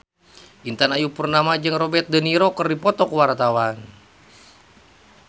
Intan Ayu Purnama jeung Robert de Niro keur dipoto ku wartawan